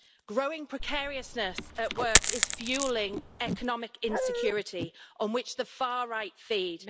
Growing precariousness at work is fuelling economic insecurity on which the far right feed.